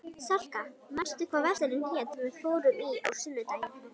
Salka, manstu hvað verslunin hét sem við fórum í á sunnudaginn?